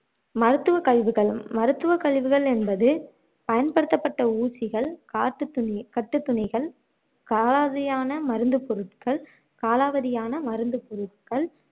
மருத்துவக் கழிவுகள் மருத்துவ கழிவுகள் என்பது பயன்படுத்தப்பட்ட ஊசிகள் காட்டுதுணி கட்டுத்துணிகள் காலாவதியான மருந்து பொருட்கள் காலாவதியான மருந்து பொருட்கள்